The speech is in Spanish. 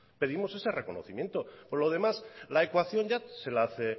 pedimos ese reconocimiento por lo demás la ecuación ya se la hace